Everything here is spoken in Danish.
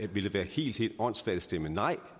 vil det være helt helt åndssvagt at stemme nej